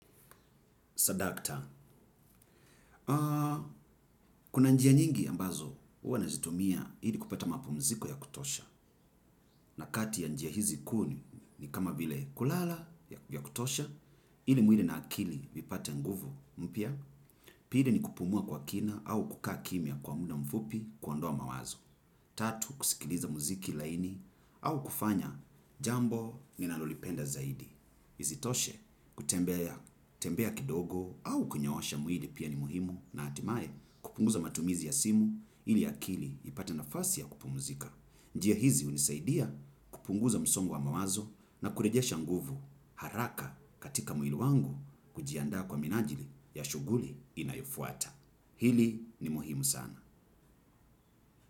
Sadakta. Kuna njia nyingi ambazo huwa nazitumia ili kupata mapumziko ya kutosha. Na kati ya njia hizi kuu ni kama vile kulala ya kutosha, ili mwili na akili vipate nguvu mpya. Pili ni kupumua kwa kina au kukaa kimya kwa muda mfupi kuondoa mawazo. Tatu kusikiliza muziki laini au kufanya jambo ninalolipenda zaidi. Isitoshe kutembea kidogo au kunyoosha mwili pia ni muhimu na hatimaye kupunguza matumizi ya simu ili akili ipate nafasi ya kupumzika. Njia hizi hunisaidia kupunguza msongo wa mawazo na kurejesha nguvu haraka katika mwili wangu kujiandaa kwa minajili ya shughuli inayofuata. Hili ni muhimu sana.